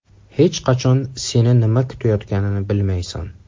Hech qachon seni nima kutayotganini bilmaysan.